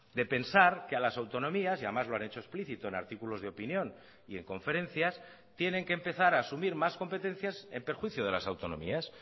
de pensar que a las autonomías y además lo han hecho explicito en artículos de opinión y en conferencias tienen que empezar a asumir más competencias en perjuicio de las autonomías